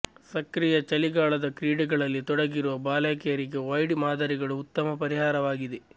ಸಕ್ರಿಯ ಚಳಿಗಾಲದ ಕ್ರೀಡೆಗಳಲ್ಲಿ ತೊಡಗಿರುವ ಬಾಲಕಿಯರಿಗೆ ವೈಡ್ ಮಾದರಿಗಳು ಉತ್ತಮ ಪರಿಹಾರವಾಗಿದೆ